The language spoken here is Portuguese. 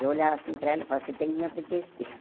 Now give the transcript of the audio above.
Eu olhava assim para ela e falava, você tem que me obedecer.